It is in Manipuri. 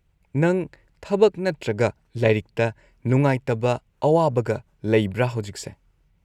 ꯅꯪ ꯊꯕꯛ ꯅꯠꯇ꯭ꯔꯒ ꯂꯥꯏꯔꯤꯛꯇ ꯅꯨꯉꯥꯏꯇꯕ ꯑꯋꯥꯕꯒ ꯂꯩꯕ꯭ꯔꯥ ꯍꯧꯖꯤꯛꯁꯦ?